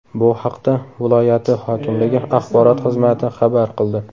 Bu haqda viloyati hokimligi axborot xizmati xabar qildi.